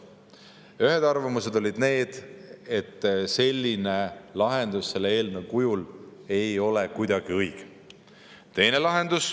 Ühed arvamused olid need, et selline lahendus selle eelnõu kujul ei ole kuidagi õige.